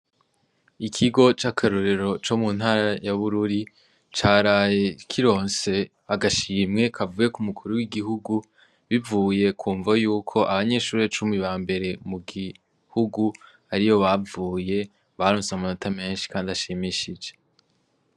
Ikigo c'akarorero co mu ntara ya Bururi, caraye kironse agashimwe kavuye k'Umukuru w'Igihugu, bivuye ku mvo yuko abanyeshure cumi ba mbere mu gihugu ariyo bavuye, baronse amanota menshi kandi ashimishije.